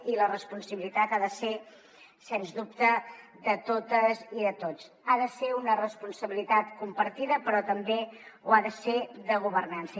i la responsabilitat ha de ser sens dubte de totes i de tots ha de ser una responsabilitat compartida però també ho ha de ser de governança